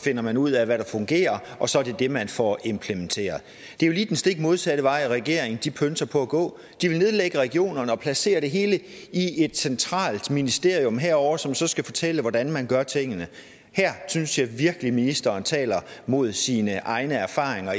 finder man ud af hvad der fungerer og så er det det man får implementeret det er jo lige den stik modsatte vej regeringen pønser på at gå de vil nedlægge regionerne og placere det hele i et centralt ministerium herovre som så skal fortælle hvordan man gør tingene her synes jeg virkelig at ministeren taler mod sine egne erfaringer